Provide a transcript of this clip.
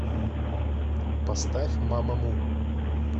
поставь мамаму